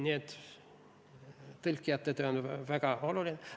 Nii et tõlkijate töö on väga oluline.